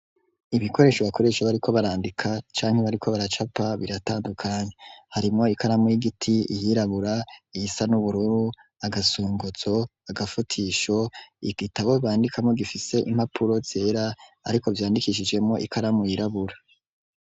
Ibikoresho bakoresha bariko barandika canke bariko baracapa biratandukanye harimwo ikaramu y'igiti yirabura iyisa n'ubururu agafunguruzo agafutisho igitabo bandikamwo gifise impapuro zera ariko vyandikishijemo ikaramu yirabura.